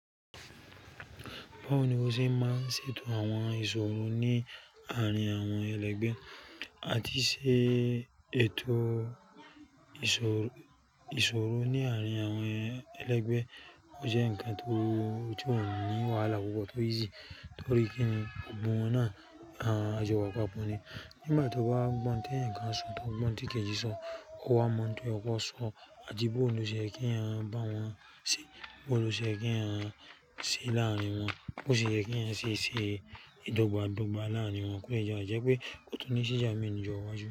Báwo ni wọ́n ṣe máa ń ṣètò àwọn ìṣòro ní àárín àwọn ẹlẹgbẹ́? Àti ṣe ètò ìṣòro ní àárín àwọn ẹlẹgbẹ́, ọ jẹ́ ǹkan tó ti ó ni wàhálà púpọ̀ tó ìsí torí kíńi gbogbo wọn náà a jọ wà papọ̀ ni. Nígbà tó bá gbọ́n tó ẹ̀yàn kan ṣòro tó gbọ́n ti kẹ́jí ṣòro, ó wá mọ̀ pé ọkọ ṣòro, àtì bòò ló ṣe yẹ kí èèyàn bá wọn sí, bòò ló ṣe yẹ kí èèyàn ṣí láàrín wọn, bó ṣe yẹ kí èèyàn ṣe ìdọ́gba dọ́gba láàrín wọn. Kó lé bàà pé kò túnní sí ìjà mọ́ ni ìjọ wá ju.